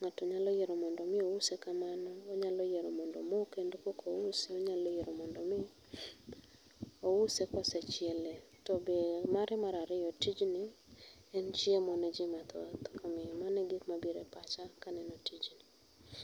ng'ato nyalo yiero mondo mi ouse kamano, onyalo yiero mondo omoo kendo koka ouse, onyalo yiero mondo mi ouse kosechiele. Tobe mare mar ariyo, tijni en chiemo ne jii mathoth, omiyo mano e gik mabiro e pacha kaneno tijni